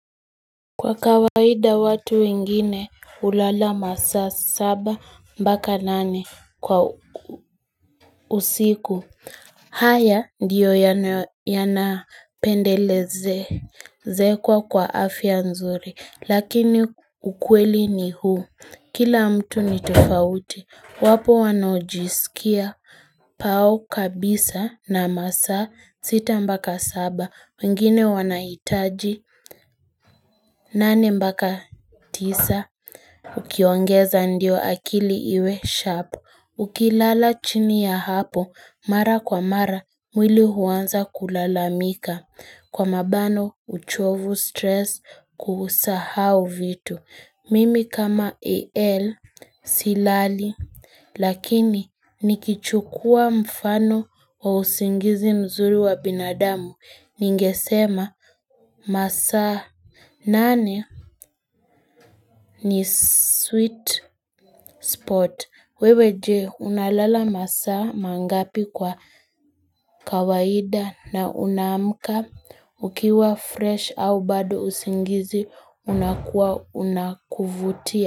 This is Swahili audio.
Kwa kawaida watu wengine hulala masaa saba mpaka nane kwa usiku haya ndiyo yanayo yanapendelezezekwa kwa afya nzuri Lakini ukweli ni huu Kila mtu ni tofauti Wapo wanaojisikia pao kabisa na masaa sita mpaka saba wengine wanahitaji, nane mpaka tisa, ukiongeza ndio akili iwe sharp Ukilala chini ya hapo, mara kwa mara, mwili huanza kulalamika Kwa mabano, uchovu stress kusahau vitu Mimi kama AL silali, lakini nikichukua mfano wa usingizi mzuri wa binadamu Ningesema masaa nane ni sweet spot wewe je unalala masaa mangapi kwa kawaida na unaamka ukiwa fresh au bado usingizi unakuwa unakuvutia.